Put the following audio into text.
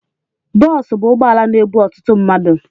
Boosu bụ ụgbọala na-ebu ọtụtụ mmadu